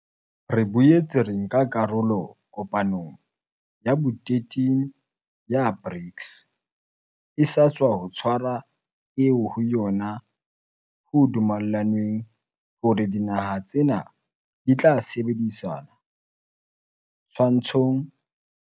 Re boetse ra nka karolo kopanong ya bo 13 ya BRICS e sa tswa tshwarwa eo ho yona ho dumellanweng hore dinaha tsena di tla sebedisana twantshong ya COVID-19 le ho tshehetsana ho tsa dipolo tiki mmoho le ditjhelete ho ba malala-a-laotswe ho lwantsha dikoduwa tsa nakong e tlang.